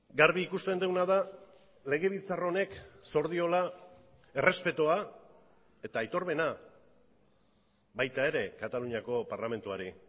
garbi ikusten duguna da legebiltzar honek zor diola errespetua eta aitormena baita ere kataluniako parlamentuari